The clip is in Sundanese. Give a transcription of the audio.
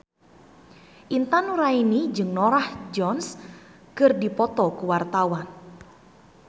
Intan Nuraini jeung Norah Jones keur dipoto ku wartawan